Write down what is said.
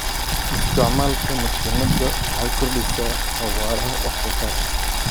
Isticmaalka mashiinada waxay kordhisaa xawaaraha wax soo saarka.